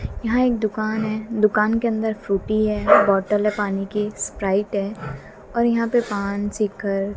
यहां एक दुकान है दुकान के अंदर फ्रूटी है बॉटल है पानी की स्प्राइट है और यहा पे पान सीकर--